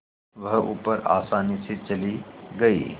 वह ऊपर आसानी से चली गई